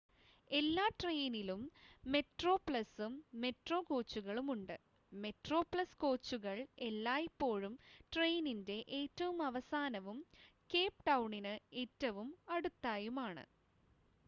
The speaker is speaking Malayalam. എല്ലാ ട്രെയിനിലും മെട്രോപ്ലസും മെട്രോ കോച്ചുകളും ഉണ്ട് മെട്രോപ്ലസ് കോച്ചുകൾ എല്ലായ്‌പ്പോഴും ട്രെയിനിൻ്റെ ഏറ്റവും അവസാനവും കേപ്പ് ടൗണിന് ഏറ്റവും അടുത്തായും ആണ്